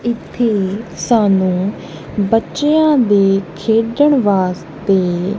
ਇੱਥੇ ਸਾਨੂੰ ਬੱਚਿਆਂ ਦੇ ਖੇਡਣ ਵਾਸਤੇ--